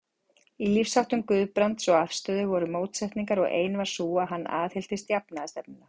Í lífsháttum Guðbrands og afstöðu voru mótsetningar, og ein var sú, að hann aðhylltist jafnaðarstefnuna.